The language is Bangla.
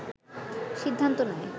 সিদ্ধান্ত নেয়